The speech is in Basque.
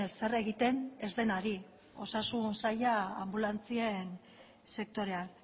zer egiten ez denari osasun saila anbulantzien sektorean